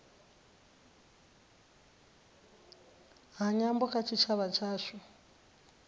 ha nyambo kha tshitshavha tshashu